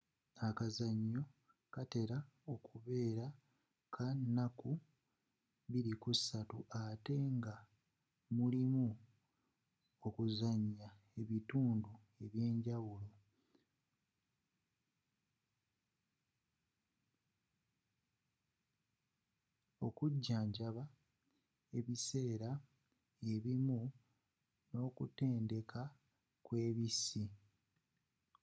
akazannyo katera okubeera ka naku 2-5 ate nga mulimu okuzannya ebitundu ebyenjawulo okujjanjaba kunji ebiseera ebimu n'okutendeka kw'ebissi